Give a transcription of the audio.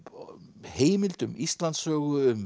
heimild um Íslandssögu um